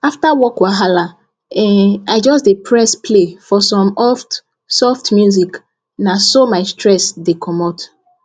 after work wahala um i just dey press play for some oft soft music na so my stress the comot